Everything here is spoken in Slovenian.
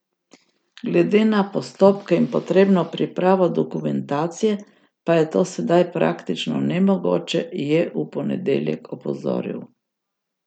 Glede na postopke in potrebno pripravo dokumentacije pa je to sedaj praktično nemogoče, je v ponedeljek opozoril.